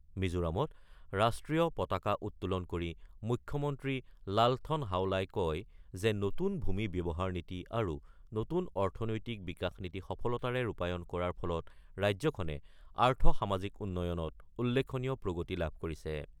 মিজোৰামত ৰাষ্ট্ৰীয় পতাকা উত্তোলন কৰি মুখ্যমন্ত্ৰী লালথন হাৱলাই কয় যে নতুন ভূমি ব্যৱহাৰ নীতি আৰু নতুন অৰ্থনৈতিক বিকাশ নীতি সফলতাৰে ৰূপায়ণ কৰাৰ ফলত ৰাজ্যখনে আৰ্থ-সামাজিক উন্নয়নত উল্লেখনীয় প্ৰগতি লাভ কৰিছে।